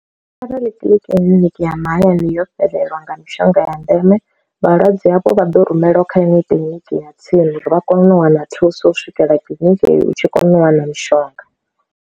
Arali kiḽiniki ya mahayani yo fhelelwa nga mishonga ya ndeme vhalwadze hafho vha ḓo rumeliwa kha lini kiḽiniki ya tsini uri vha kone u wana thuso u swikela kiḽiniki u tshi kona u wana mishonga.